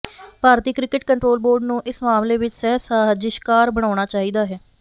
ਭਾਰਤੀ cricket control board ਨੂੰ ਇਸ ਮਾਮਲੇ ਵਿੱਚ ਸਹਿ ਸਾਜ਼ਿਸ਼ਕਾਰ ਬਣਾਉਣਾ ਚਾਹੀਦਾ ਹੈ